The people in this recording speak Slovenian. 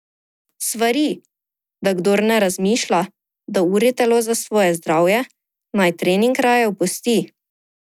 Svari, da kdor ne razmišlja, da uri telo za svoje zdravje, naj trening raje opusti.